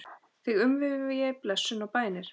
Þig umvefji blessun og bænir.